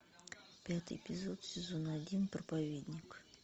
пятый эпизод сезон один проповедник